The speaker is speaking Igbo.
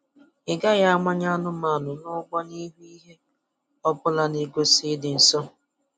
Ị gaghị amanye anụmanụ n'ụgbụ n'ihu ihe ọbụla na-egosi ịdị nsọ